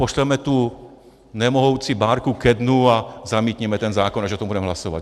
Pošleme tu nemohoucí bárku ke dnu a zamítněme ten zákon, až o tom budeme hlasovat.